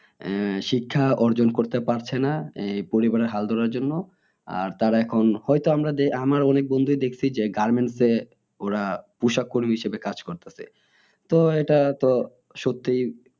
আহ শিক্ষা অর্জন করতে পারছে না এই পরিবারের হাল ধরার জন্য আর তারা এখন হইত আমার অনেক বন্ধু দেখেছি যে garments এ ওরা পোষক কর্মী হিসেবে কাজ করতাছে তো এটা তো সত্যিই